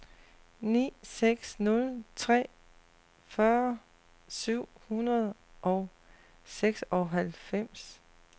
ni seks nul tre fyrre syv hundrede og seksoghalvfems